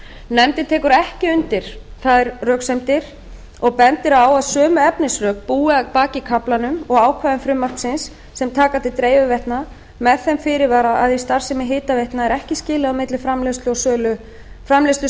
nefndin tekur ekki undir þær röksemdir og bendir á að sömu efnisrök búi að baki kaflanum og ákvæðum frumvarpsins sem taka til dreifiveitna með þeim fyrirvara að í starfsemi hitaveitna er ekki skilið á milli framleiðslu